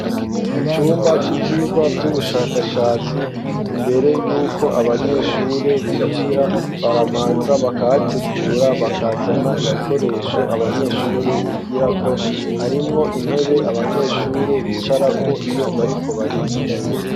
Mu cumba c'ivyigwa vy'ubushakashatsi, imbere yuko abanyeshure binjira, barabanza bakahategura bakazana ibikoresho abanyeshuri bigira ko harimwo intebe abanyeshuri bicarako iyo bariko bariga.